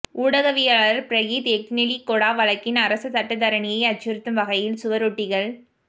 ஊடகவியலாளர் பிரகீத் எக்னெலிகொட வழக்கின் அரச சட்டத்தரணியை அச்சுறுத்தும் வகையில் சுவரொட்டிகள்